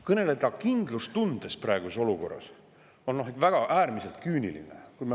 Kõneleda kindlustundest praeguses olukorras on äärmiselt küüniline.